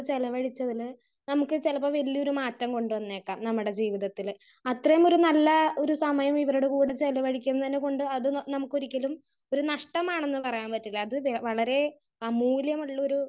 Speaker 1 ചിലവഴിച്ചതിന് നമുക്ക് ചിലപ്പോൾ വല്യൊരു മാറ്റം കൊണ്ടു വന്നേക്കാം നമ്മുടെ ജീവിതത്തില് അത്രേം ഒരു നല്ല ഒരു സമയം ഇവരുടെ കൂടെ ചിലവഴിക്കുന്നത് കൊണ്ട് അത് നമുക്ക് ഒരിക്കലും ഒരു നഷ്ടമാണെന്ന് പറയാൻ പറ്റില്ല. അത് വളരെ മൂല്യം ഉള്ളൊരു.